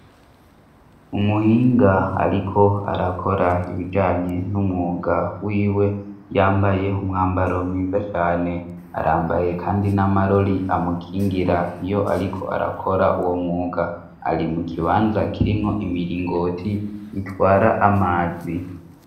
Umuhinga ariko arakora ibijanye n'umwuga wiwe, yambaye umwambaro mwiza cane ; arambaye kandi n'amarori amukingira iyo ariko arakora uwo mwuga. Ari mu kibanza kirimwo imiringoti itwara amazi.